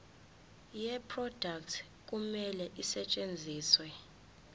yeproduct kumele isetshenziswe